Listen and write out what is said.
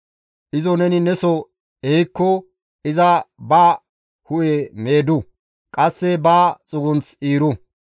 izo neni neso ehikko iza ba hu7e meedettu; qasse ba xugunth iiru.